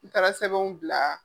N taara sɛbɛnw bila.